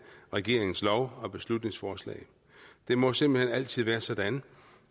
regeringens lov og beslutningsforslag det må simpelt hen altid være sådan